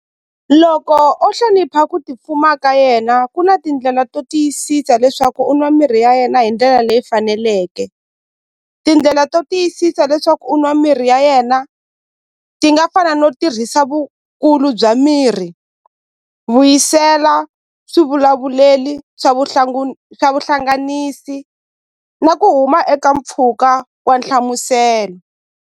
Loko o hlonipha ku tipfuma ka yena ku na tindlela to tiyisisa leswaku u nwa mirhi ya yena hi ndlela leyi faneleke tindlela to tiyisisa leswaku u nwa mirhi ya yena ti nga fana no tirhisa vukulu bya mirhi vuyisela swivulavuleli swa swa vuhlanganisi na ku huma eka mpfhuka wa nhlamuselo.